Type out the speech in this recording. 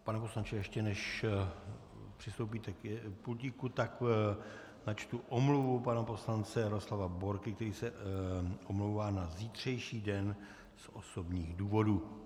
Pane poslanče, ještě než přistoupíte k pultíku, tak načtu omluvu pana poslance Jaroslava Borky, který se omlouvá na zítřejší den z osobních důvodů.